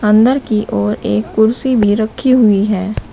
अंदर की ओर एक कुर्सी भी रखी हुई है।